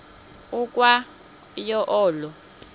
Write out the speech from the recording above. ukwa yo olo